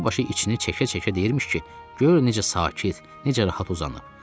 Dəqiqə başı içini çəkə-çəkə deyirmiş ki, gör necə sakit, necə rahat uzanıb.